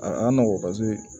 A ma nɔgɔn paseke